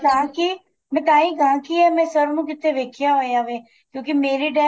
ਤਾਂ ਕੀ ਮੈਂ ਤਾਹੀ ਕਹਾ ਕੀ ਇਹ ਮੈਂ sir ਨੂੰ ਕਿੱਥੇ ਵੇਖਿਆ ਹੋਇਆ ਵੇ ਕਿਉਂਕਿ ਮੇਰੇ time